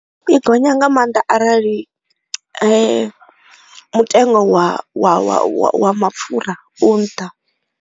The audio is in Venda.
I gonya nga maanḓa arali mutengo wa wa wa mapfura u nṱha.